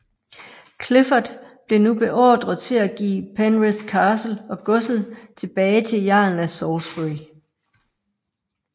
Clifford blev nu beordret til at give Penrith Castle og godset tilbage til jarlen af Salisbury